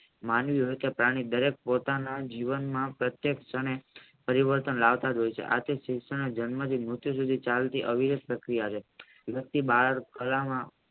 માનવી હતા ત્યારે દરેક પોતાના જીવનમાં પ્રત્યેક ક્ષણે પરિવર્તન લાવતાજ હોય છે આથી જન્મ થી કે મૃત્યુ સુધી ત્યાં સુધી અવિરુદ્ધ શક્તિ આવે